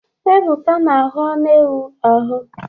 Ebuka na-ahuu anu ewu ahụ.